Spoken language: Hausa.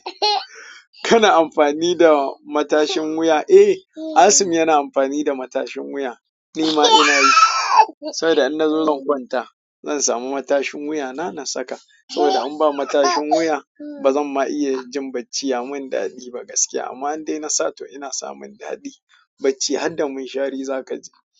Kana amfani da matashin wuya? Eh, Asim yana amfani da matashin wuya. Ni ma ina yi. Saboda in na zo zan gwanta, zan samu matashin wuya na saka. Saboda in ba matashin wuya ba zan ma iya jin bacci ya mun daɗi ba gaskiya. Amma an dai na sato ina samun daɗi bacci har da mun shari za ka ji.